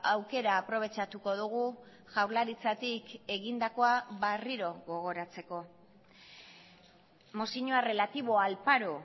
aukera aprobetxatuko dugu jaurlaritzatik egindakoa berriro gogoratzeko mozioa relativo al paro